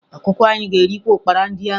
Ọkụkọ anyị ga-erikwa ụkpara ndị ahụ